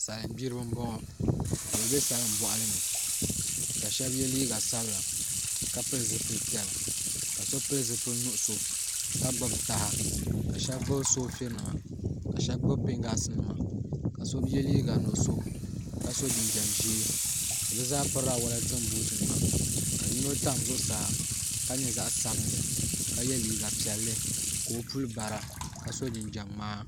Salin gbiribi n boŋo ka bi bɛ salin boɣali ni ka shab yɛ liiga sabila ka pili zipili piɛla ka so pili zipili nuɣso ka gbubi taha ka shab gbubi soofili nima ka shab gbubi pingaas nima ka so yɛ liiga nuɣso ka so jinjɛm ʒiɛ bi zaa pirila wolatin buuti nima ka yino tam zuɣusaa ka nyɛ zaɣ sabinli ka yɛ liiga piɛlli ka o puli bara ka so jinjɛm ŋmaa